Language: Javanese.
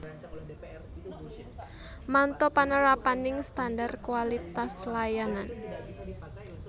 Manto panerapaning standar kualitas layanan